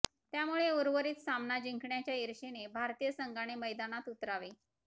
त्यामुळे उर्वरित सामना जिंकण्याच्या इर्षेने भारतीय संघाने मैदानात उतरावे